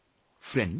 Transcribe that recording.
Friends,